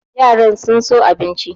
Yaran sun so abincin.